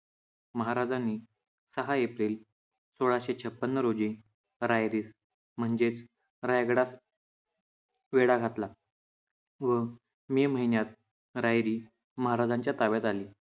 महाराजांनी सहा एप्रिल सोळाशे छप्पन रोजी रायरीत म्हणजेच रायगडास वेढा घातला व मे महिन्यात रायरी महाराजांच्या ताब्यात आली.